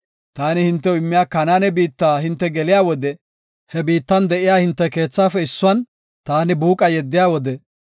“Taani hintew immiya Kanaane biitta hinte geliya wode he biittan de7iya hinte keethafe issuwan taani buuqa yeddiya wode,